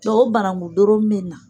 Dɔnku o banankun doro ninnu